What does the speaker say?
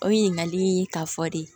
O ɲininkali in ka fɔ de